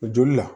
Joli la